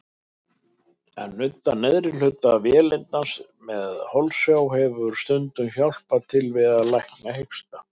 Að nudda neðri hluta vélindans með holsjá hefur stundum hjálpað til að lækna hiksta.